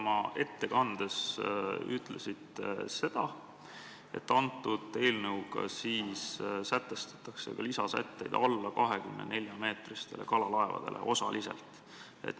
Oma ettekandes ütlesite, et eelnõuga sätestatakse lisasätteid alla 24-meetristele kalalaevadele osaliselt.